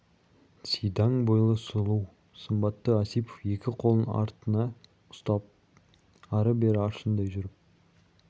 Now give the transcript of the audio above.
сидаң бойлы сұлу сымбатты осипов екі қолын артына ұстап ары-бері аршындай жүріп